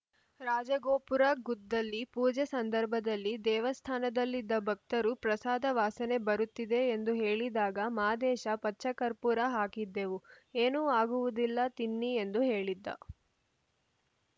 ರಾಜಗೋಪುರ ಗುದ್ದಲಿ ಪೂಜೆ ಸಂದರ್ಭದಲ್ಲಿ ದೇವಸ್ಥಾನದಲ್ಲಿದ್ದ ಭಕ್ತರು ಪ್ರಸಾದ ವಾಸನೆ ಬರುತ್ತಿದೆ ಎಂದು ಹೇಳಿದಾಗ ಮಾದೇಶ ಪಚ್ಚ ಕರ್ಪೂರ ಹಾಕಿದ್ದೆವು ಏನೂ ಆಗುವುದಿಲ್ಲ ತಿನ್ನಿ ಎಂದು ಹೇಳಿದ್ದ